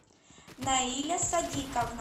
наиля садиковна